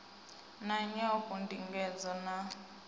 na nyolo ndingedzo na u